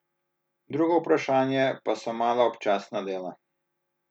Drugo vprašanje pa so mala občasna dela.